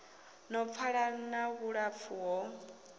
no pfala na vhulapfu ho